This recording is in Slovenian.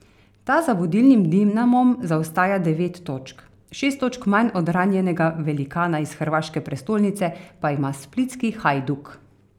Ta za vodilnim Dinamom zaostaja devet točk, šest točk manj od ranjenega velikana iz hrvaške prestolnice pa ima splitski Hajduk.